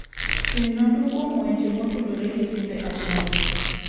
Tim nonro kuom weche motudore gi timbe anyuola.